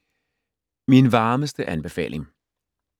Min varmeste anbefaling